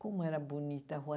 Como era bonita a Rua